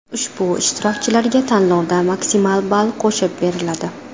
Ushbu ishtirokchilarga tanlovda maksimal ball qo‘shib beriladi.